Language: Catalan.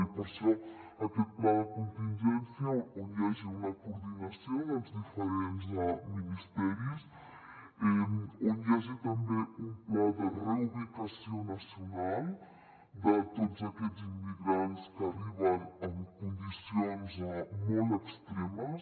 i per això aquest pla de contingència on hi hagi una coordinació dels diferents ministeris on hi hagi també un pla de reubicació nacional de tots aquests immigrants que arriben en condicions molt extremes